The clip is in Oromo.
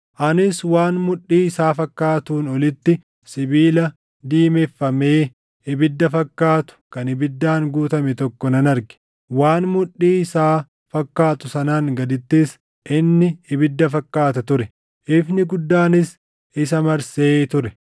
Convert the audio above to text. Anis waan mudhii isaa fakkaatuun olitti sibiila diimeffamee ibidda fakkaatu kan ibiddaan guutame tokko nan arge; waan mudhii isaa fakkaatu sanaan gadittis inni ibidda fakkaata ture; ifni guddaanis isa marsee ture.